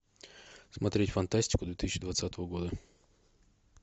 смотреть фантастику две тысячи двадцатого года